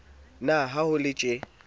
na ha ho le tjee